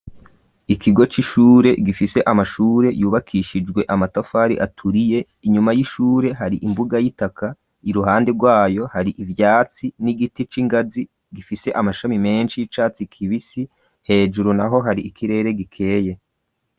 Ikigo c'ishure gifise amashure yubakishijwe amatafari aturiye inyuma y'ishure hari imbuga y'itaka iruhande rwayo hari ivyatsi n'igiti c'ingazi gifise amashami menshi y'icatsi kibisi hejuru naho hari ikirere gikeye.